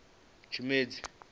tshimedzi